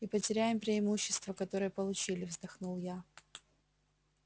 и потеряем преимущество которое получили вздохнул я